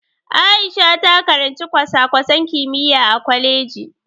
Aisha ta karanci kwasa-kwasan kimiyya a kwaleji.